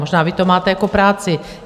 Možná vy to máte jako práci.